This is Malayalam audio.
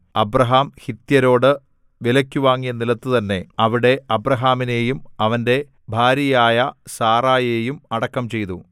അബ്രാഹാം ഹിത്യരോടു വിലയ്ക്കു വാങ്ങിയ നിലത്തു തന്നെ അവിടെ അബ്രാഹാമിനെയും അവന്റെ ഭാര്യയായ സാറായെയും അടക്കം ചെയ്തു